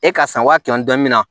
E ka san wa kɛmɛ ni dɔɔnin mina